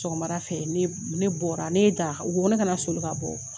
Sɔgɔmadafɛ ne ne bɔra ne ye dara u kone kana sɔli ka bɔ